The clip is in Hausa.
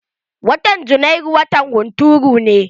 Watan Janairu watan hunturu ne.